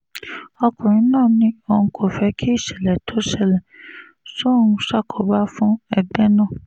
ọkùnrin náà ní òun kò fẹ́ kí ìṣẹ̀lẹ̀ tó ṣẹlẹ̀ sóun ṣàkóbá fún ẹgbẹ́ náà